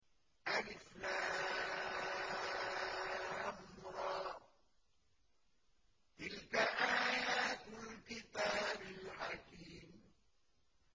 الر ۚ تِلْكَ آيَاتُ الْكِتَابِ الْحَكِيمِ